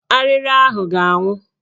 Arịrị ahụ ga-anwụ